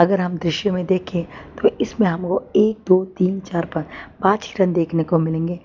अगर हम दृश्य में देखे तो इसमें हमे वो एक दो तीन चार पा पांच हिरन देखने को मिलेंगे।